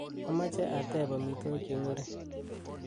amoje ateb amitwogik cheng'ering